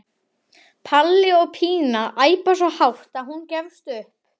Palli og Pína æpa svo hátt að hún gefst upp.